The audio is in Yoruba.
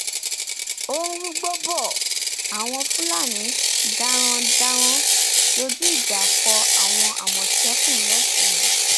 ó ń rúgbòó bò ó àwọn fúlàní darandaran dojú ìjà kọ àwọn àmọtẹkùn lọsùn